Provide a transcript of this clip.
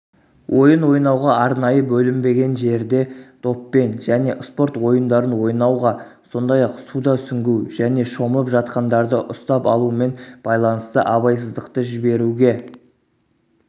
ойын ойнауға арнайы бөлінбеген жерде доппен және спорт ойындарын ойнауға сондай-ақ суда сүңгу және шомылып жатқандарды ұстап алумен байланысты абайсыздықты жіберуге